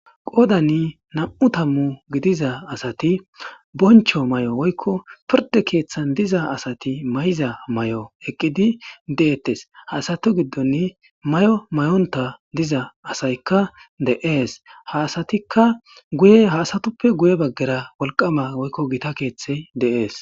Qoodani nam'u tammu gidiza asati bonchcho mayo woykko pirdde keeththan diza asati mayiza mayo eqqidi deettes ha asatu giddoni mayo mayonta diza asaykka de'es ha asatikka guye ha asatuppe guye baggara wolqqama woykko gita keeththey de'es.